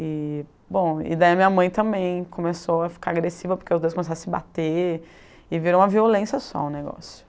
E bom e daí a minha mãe também começou a ficar agressiva porque os dois começaram a se bater e virou uma violência só o negócio.